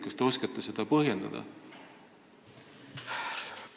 Kas te oskate seda põhjendada?